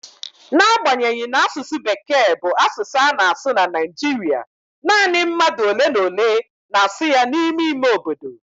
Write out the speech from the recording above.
N'agbanyeghị na asụsụ Bekee bụ asụsụ a na-asụ na Naịjirịa, nanị mmadụ ole na ole na-asụ ya n'ime ime obodo.